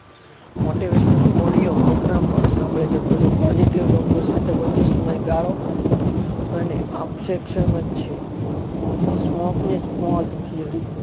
Motivational audio programme પણ સાંભળી શકો છો. positive લોકો સાથે વધુ સમય ગાળો અને ઓપસેક્સન જ છે